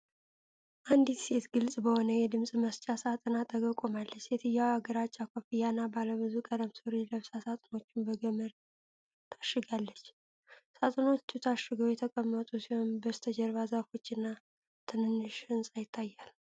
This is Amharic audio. አንዲት ሴት ግልጽ በሆኑ የድምጽ መስጫ ሣጥኖች አጠገብ ቆማለች። ሴትየዋ ግራጫ ኮፍያና ባለብዙ ቀለም ሱሪ ለብሳ ሳጥኖቹን በገመድ ታሽጋለች። ሣጥኖቹ ታሽገው የተቀመጡ ሲሆን፣ በስተጀርባ ዛፎችና ትንሽ ሕንፃ ይታያል።